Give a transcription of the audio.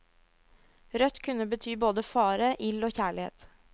Rødt kunne bety både fare, ild og kjærlighet.